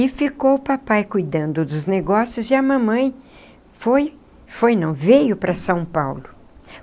E ficou o papai cuidando dos negócios e a mamãe foi, foi não, veio para São Paulo.